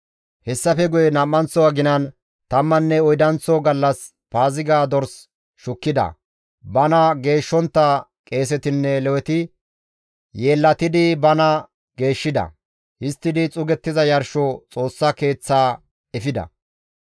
Hessafe guye nam7anththo aginan tammanne oydanththo gallas Paaziga dors shukkida; bana geeshshontta qeesetinne Leweti yeellatidi bana geeshshida; histtidi xuugettiza yarsho Xoossa Keeththa ehida.